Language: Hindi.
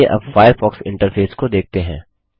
चलिए अब फ़ायरफ़ॉक्स इंटरफेस को देखते हैं